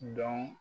Dɔn